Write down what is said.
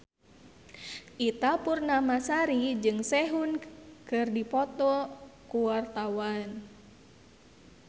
Ita Purnamasari jeung Sehun keur dipoto ku wartawan